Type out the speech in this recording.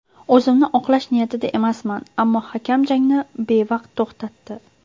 O‘zimni oqlash niyatida emasman, ammo hakam jangni bevaqt to‘xtatdi.